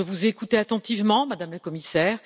Je vous ai écoutée attentivement, Madame la Commissaire.